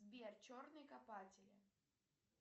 сбер черные копатели